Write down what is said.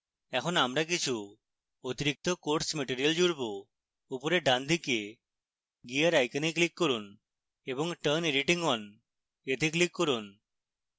এখন আমরা কিছু অতিরিক্ত course material জুড়ব